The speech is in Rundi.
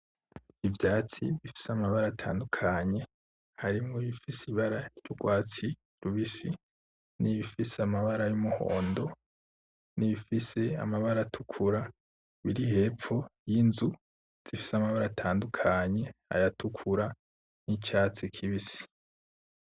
Ivyatsi bifise amabara atandukanye, harimwo ifise ibara ry'ugwatsi rubisi n'ibifise amabara y'umuhondo n'ibifise amabara atukura. Biri hepfo yinzu zifise amabara atandukanye, ayatukura nicatsi k'ibisi.